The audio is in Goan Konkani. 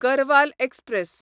गरवाल एक्सप्रॅस